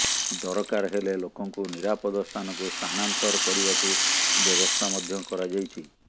ଦରକାର ହେଲେ ଲୋକଙ୍କୁ ନିରାପଦ ସ୍ଥାନକୁ ସ୍ଥାନାନ୍ତର କରିବାକୁ ବ୍ୟବସ୍ଥା ମଧ୍ୟ କରାଯାଇଛି